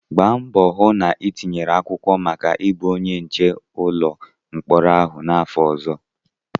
Gbaa mbọ hụ na itinyere akwụkwọ maka ịbụ onye nche ụlọ mkpọrọ ahụ n'afọ ọzọ!